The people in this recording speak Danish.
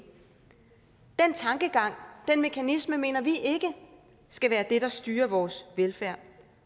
den tankegang og den mekanisme mener vi ikke skal være det der styrer vores velfærd